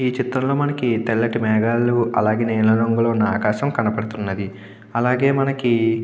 ఈ చిత్రంలో మనకి తెల్లటి మేఘాలు అలాగే నీలిరంగులో ఉన్న ఆకాశం కనబడుతుంది. అలాగే మనకి --